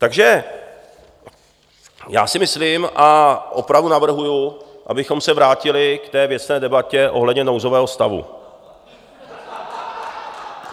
Takže já si myslím a opravdu navrhuji, abychom se vrátili k té věcné debatě ohledně nouzového stavu.